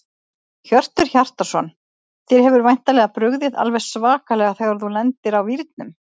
Hjörtur Hjartarson: Þér hefur væntanlega brugðið alveg svakalega þegar þú lendir á vírnum?